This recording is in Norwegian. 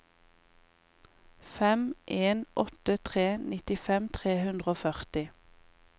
fem en åtte tre nittifem tre hundre og førti